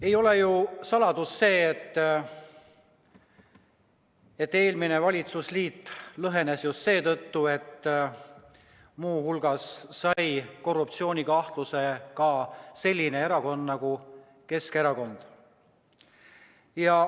Ei ole ju saladus, et eelmine valitsusliit lõhenes just seetõttu, et muu hulgas sai korruptsioonikahtluse ka selline erakond nagu Keskerakond.